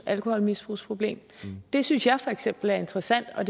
alkoholmisbrugsproblem det synes jeg for eksempel er interessant og